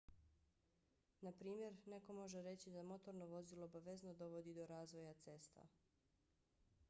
naprimjer neko može reći da motorno vozilo obavezno dovodi do razvoja cesta